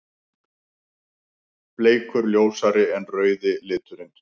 Bleikur: Ljósari en rauði liturinn.